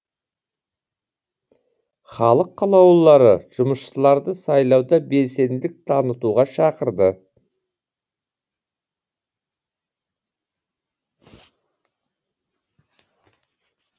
халық қалаулылары жұмысшыларды сайлауда белсенділік танытуға шақырды